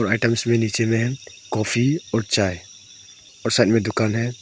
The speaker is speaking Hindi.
आइटम्स भी लिखे हुए हैं कॉफी और चाय और साइड में एक दुकान है।